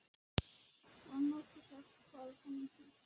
Var nokkuð sagt hvað hann héti?